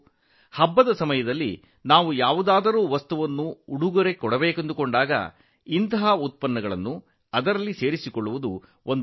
ಹಬ್ಬದ ಸಮಯದಲ್ಲಿ ನಾವು ನೀಡುವ ಯಾವುದೇ ಉಡುಗೊರೆಗಳಲ್ಲಿ ಈ ರೀತಿಯ ಉತ್ಪನ್ನಗಳು ಇರುವಂತೆ ನೋಡಿಕೊಳ್ಳುವುದು ಉತ್ತಮ ಮಾರ್ಗವಾಗಿದೆ